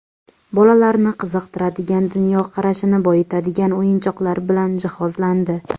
Bolalarni qiziqtiradigan, dunyoqarashini boyitadigan o‘yinchoqlar bilan jihozlandi.